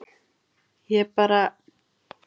Ég bara